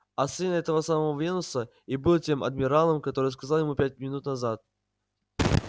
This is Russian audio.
а сын этого самого венуса и был тем адмиралом который сказал ему пять минут назад